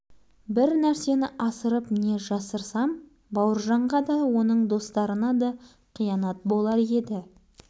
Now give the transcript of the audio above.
менің бауыржаным да бірқыдыру адамдардың ортасында жүрген бала ең әдемісі шыңдықты жазу жазушыны діттеген жеріне жеткізетін